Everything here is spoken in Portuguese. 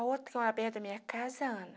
A outra, que mora perto da minha casa, Ana.